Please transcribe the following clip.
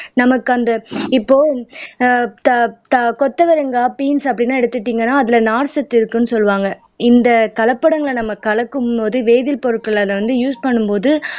நமக்கு அந்த இப்போ ஆஹ் கொத்தவரங்கா பீன்ஸ் அப்படி எல்லாம் எடுத்துக்கிட்டீங்கன்னா அதுல நார்ச்சத்து இருக்குன்னு சொல்லுவாங்க இந்த கலப்படங்களை நம்ம கலக்கும் போது வேதிப் பொருட்கள் அதை வந்து யூஸ் பண்ணும் போது